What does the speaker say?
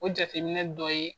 O jateminɛ dɔ ye